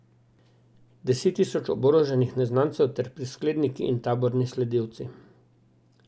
Deset tisoč oboroženih neznancev ter priskledniki in taborni sledilci.